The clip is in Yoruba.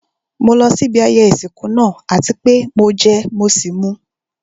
Mo lọ sí ibi ayẹyẹ ìsìnkú náà àti pé mo jẹ mọ́ sì mú.